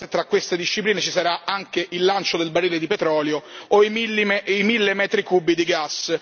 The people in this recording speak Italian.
chissà, se tra queste discipline, ci sarà anche il lancio del barile di petrolio o i mille metri cubi di gas.